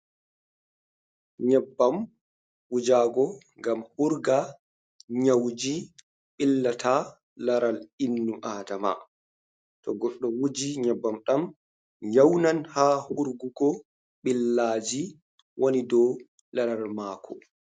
Nyebbam wujaago, ngam hurga nyawuuji ɓillata laral inno-Aadama, to goɗɗo wuji nyebbam ɗa'am, nyawndan ha hurgugo ɓillaaji woni dow laral maako.